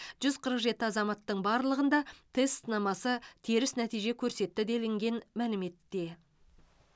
жүз қырық жеті азаматтың барлығында тест сынамасы теріс нәтиже көрсетті делінген мәліметте